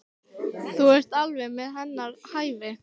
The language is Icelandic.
Þú ert alveg við hennar hæfi.